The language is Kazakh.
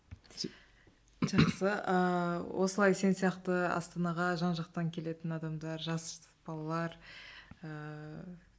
жақсы ыыы осылай сен сияқты астанаға жан жақтан келетін адамдар жас балалар ыыы